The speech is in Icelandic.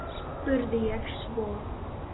spurði ég svo.